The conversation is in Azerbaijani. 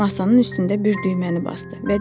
Masanın üstündə bir düyməni basdı və dedi: